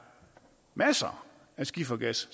masser af skifergas